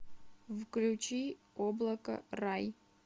включи облако рай